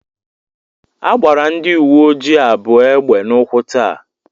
A gbara ndị uwe ojii abụọ egbe n'ụkwụ tàà